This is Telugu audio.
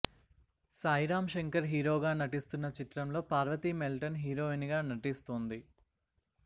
సాయిరాం శంకర్ హీరోగా నటిస్తున్న చిత్రంలో పార్వతీ మెల్టన్ హీరోయిన్ గా నటిస్తూంది